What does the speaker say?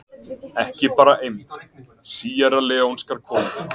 Ekki bara eymd: Síerraleónskar konur.